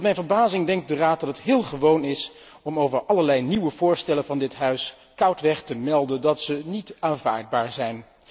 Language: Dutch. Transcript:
Tot mijn verbazing denkt de Raad dat het heel gewoon is om over allerlei nieuwe voorstellen van dit Parlement koudweg te melden dat zij niet aanvaardbaar zijn.